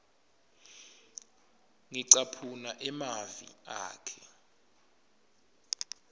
ngicaphuna emavi akhe